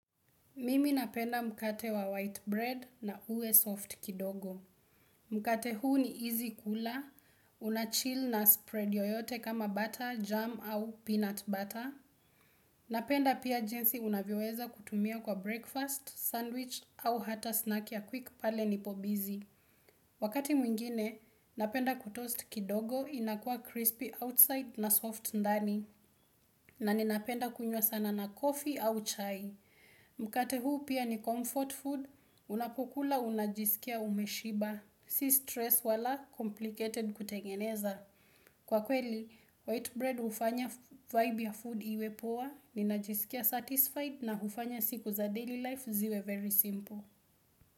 Mimi napenda mkate wa white bread na uwe soft kidogo. Mkate huu ni easy kula, unachill na spread yoyote kama butter, jam au peanut butter. Napenda pia jinsi unavyoeza kutumia kwa breakfast, sandwich au hata snack ya quick pale nipo busy. Wakati mwingine, napenda kutoast kidogo inakua crispy outside na soft ndani. Na ninapenda kunyua sana na coffee au chai. Mkate huu pia ni comfort food, unapokula unajisikia umeshiba Si stress wala complicated kutengeneza Kwa kweli, white bread ufanya vibe ya food iwe poa Ninajisikia satisfied na hufanya siku za daily life ziwe very simple.